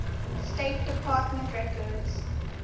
state department records